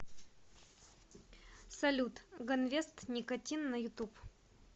салют ганвест никотин на ютуб